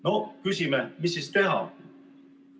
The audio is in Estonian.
No küsime: mis siis teha?